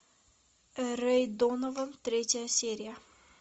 рэй донован третья серия